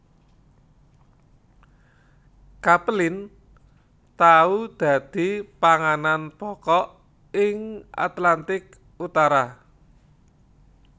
Capelin tau dadi panganan pokok ing Atlantik Utara